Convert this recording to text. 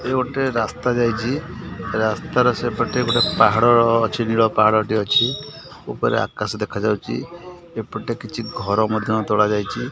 ଏ ଗୋଟେ ରାସ୍ତା ଯାଇଚି ରାସ୍ତାର ସେପଟେ ଗୋଟେ ପାହାଡର ଅଛି ନିଳ ପାହାଡଟେ ଅଛି ଉପରେ ଆକାଶ ଦେଖାଯାଉଛି ଏପଟେ କିଛି ଘର ମଧ୍ଯ ତୋଳା ଯାଇଛି।